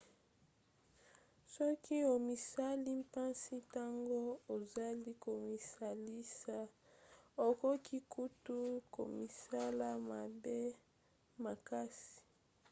soki omisali mpasi ntango ozali komisalisa okoki kutu komisala mabe makasi